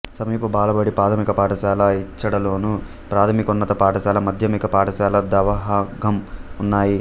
సమీప బాలబడి ప్రాథమిక పాఠశాల ఇచ్చోడలోను ప్రాథమికోన్నత పాఠశాల మాధ్యమిక పాఠశాల దహగాం ఉన్నాయి